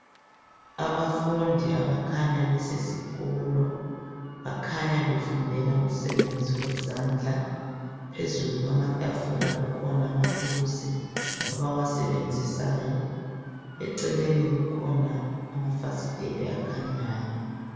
Abafundi abakhanya besesikolo bakhanya befundela umsebenzi wezandla phezulu kwamatafula kukhona amathuluzi abawasebenzisayo eceleni kukhona amafasitela akhanyayo